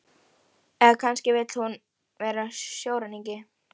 Eða kannski vill hún vera sjóræningi?